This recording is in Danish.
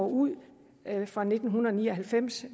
ud fra nitten ni og halvfems